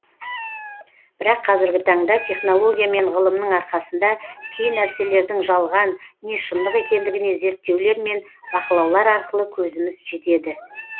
бірақ қазіргі таңда технология мен ғылымның арқасында кей нәрселердің жалған не шындық екендігіне зерттерулер мен бақылаулар арқылы көзіміз жетеді